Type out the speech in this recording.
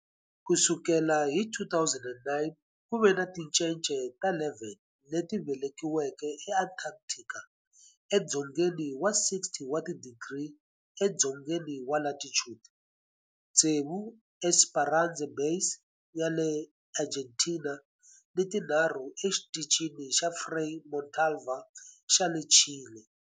Ku sukela hi 2009, ku ve ni tincece ta 11 leti velekiweke eAntarctica, edzongeni wa 60 wa tidigri edzongeni wa latitude, tsevu eEsperanza Base ya le Argentina ni tinharhu eXitichini xa Frei Montalva xa le Chile.